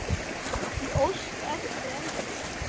Ég óska eftir þér ennþá.